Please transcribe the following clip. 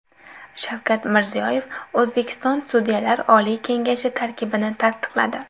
Shavkat Mirziyoyev O‘zbekiston Sudyalar oliy kengashi tarkibini tasdiqladi.